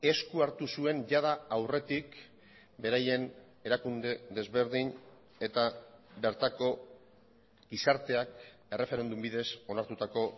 esku hartu zuen jada aurretik beraien erakunde desberdin eta bertako gizarteak erreferendum bidez onartutako